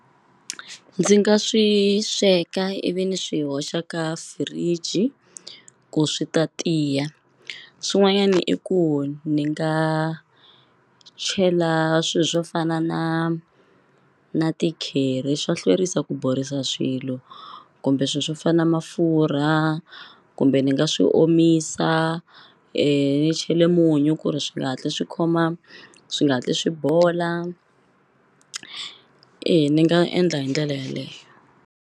Ndzi nga swi sweka ivi ni swi hoxa ka fridge ku swi ta tiya swin'wanyani i ku ni nga chela swi swo fana na na ti-curry swa hlwerisa ku borisa swilo kumbe swi swo fana mafurha kumbe ni nga swi omisa ni chele munyu ku ri swi nga hatli swi khoma swi nga hatli swi bola e ni nga endla hi ndlela yeleyo.